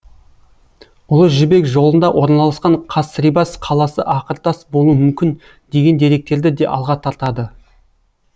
ұлы жібек жолында орналасқан касрибас қаласы ақыртас болуы мүмкін деген деректерді де алға тартады